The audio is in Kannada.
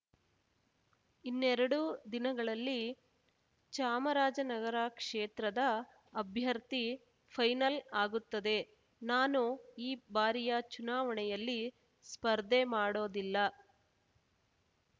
ಇನ್ನೆರಡು ದಿನಗಳಲ್ಲಿ ಚಾಮರಾಜನಗರ ಕ್ಷೇತ್ರದ ಅಭ್ಯರ್ಥಿ ಫೈನಲ್ ಆಗುತ್ತದೆ ನಾನು ಈ ಬಾರಿಯ ಚುನಾವಣೆಯಲ್ಲಿ ಸ್ಪರ್ಧೆ ಮಾಡೋದಿಲ್ಲ